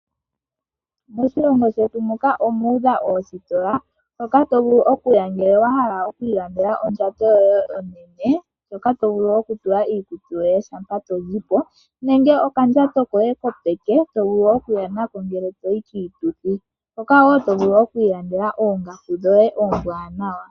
Moshilongo shetu muka omuudha oositola moka tovulu okuya uuna wahala okwiilandela ondjato yoye yopeke ndjoka tovulu okutula iikutu yoye shampa tozipo, nenge okandjato koye kopeke tovulu okuya nako ngele toyi kiituthi, moka wo tovulu okwiilandela oongaku dhoye oombwaanawa.